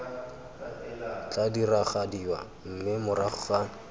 tla diragadiwa mme morago ga